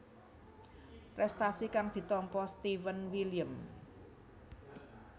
Prestasi kang ditampa Steven William